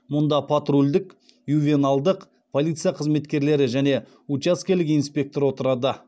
мұнда патрульдік ювеналдық полиция қызметкерлері мен учаскелік инспектор отырады